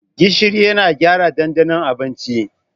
Gishiri yana gyara ɗanɗanon abinci.